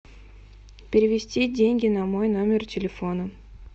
перевести деньги на мой номер телефона